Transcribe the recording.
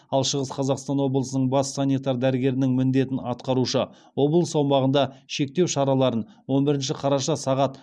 ал шығыс қазақстан облысының бас санитар дәрігерінің міндетін атқарушы облыс аумағында шектеу шараларын он бірінші қараша сағат